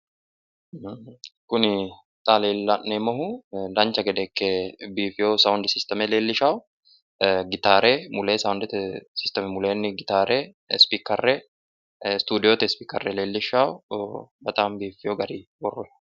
Kuni xa la'neemmohu dancha gede ikke biifiwo sawundi sisteme leellishawo. Gitaare mulee soundete sisteme muleenni gitaare, ispiikere istuudiyote ispiikere leellishshanno. Bexaami biiffiwo garinni no.